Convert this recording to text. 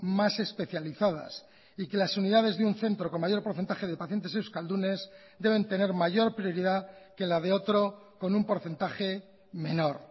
más especializadas y que las unidades de un centro con mayor porcentaje de pacientes euskaldunes deben tener mayor prioridad que la de otro con un porcentaje menor